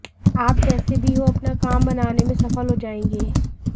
आप जैसे भी हो अपना काम बनाने में सफल हो जाएंगे